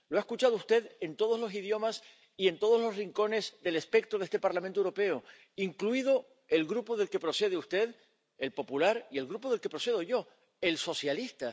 Lo ha escuchado usted en todos los idiomas y en todos los rincones del espectro de este Parlamento Europeo, incluido el Grupo del que procede usted —el popular— y el grupo del que procedo yo —el socialista—.